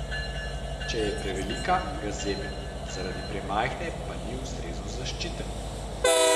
Če je prevelika, ga zebe, zaradi premajhne pa ni ustrezno zaščiten.